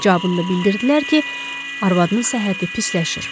Cavabında bildirdilər ki, arvadının səhhəti pisləşir.